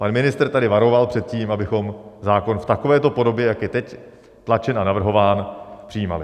Pan ministr tady varoval před tím, abychom zákon v takovéto podobě, jak je teď tlačen a navrhován, přijímali.